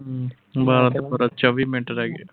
ਬਾਰਾਂ ਚੌਵੀ ਮਿੰਟ ਰਹਿ ਗਏ।